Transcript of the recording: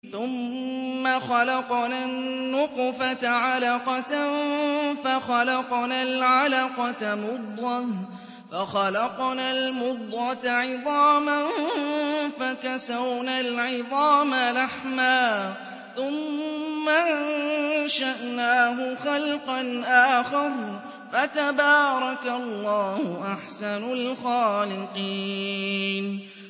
ثُمَّ خَلَقْنَا النُّطْفَةَ عَلَقَةً فَخَلَقْنَا الْعَلَقَةَ مُضْغَةً فَخَلَقْنَا الْمُضْغَةَ عِظَامًا فَكَسَوْنَا الْعِظَامَ لَحْمًا ثُمَّ أَنشَأْنَاهُ خَلْقًا آخَرَ ۚ فَتَبَارَكَ اللَّهُ أَحْسَنُ الْخَالِقِينَ